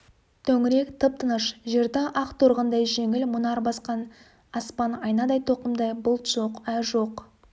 төңірек тып-тыныш жерді ақ торғындай жеңіл мұнар басқан аспан айнадай тоқымдай бұлт жоқ ай жоқ